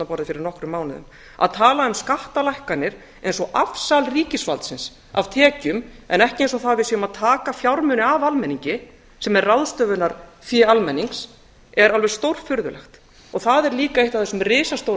ríkisstjórnarborðið fyrir nokkrum mánuðum að tala um skattalækkanir eins og afsal ríkisvaldsins af tekjum en ekki það eins og við séum að taka fjármuni af almenningi sem er ráðstöfunarfé almenningi er alveg stórfurðulegt og það er líka eitt af þessum risastóru